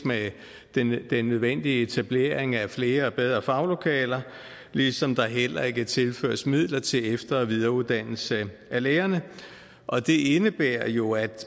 med den nødvendige etablering af flere og bedre faglokaler ligesom der heller ikke tilføres midler til efter og videreuddannelse af lærerne og det indebærer jo at